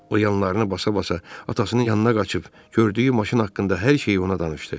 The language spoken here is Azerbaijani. O yanlarını basa-basa atasının yanına qaçıb, gördüyü maşın haqqında hər şeyi ona danışdı.